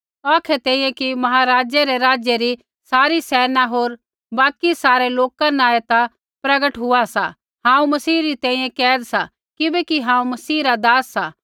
औखै तैंईंयैं कि महाराज़ै रै राज्य री सारी सेना होर बाकि सारै लोका न ऐ ता प्रगट हुआ सा हांऊँ मसीह री तैंईंयैं कैद सा किबैकि हांऊँ मसीह रा दास सा